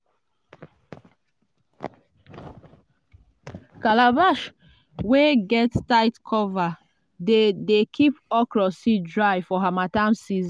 calabash wey get tight cover dey dey keep okra seed dry for harmattan season.